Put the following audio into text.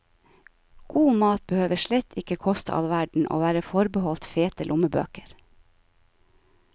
God mat behøver slett ikke koste all verden og være forbeholdt fete lommebøker.